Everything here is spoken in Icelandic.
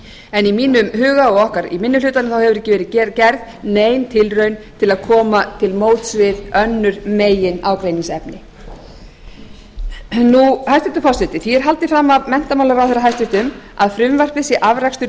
en í mínum huga og okkar í minni hlutanum hefur ekki verið gerð nein tilraun til að koma til móts við önnur meginágreiningsefni hæstvirtur forseti því er haldið fram af hæstvirtum menntamálaráðherra að frumvarpið sé afrakstur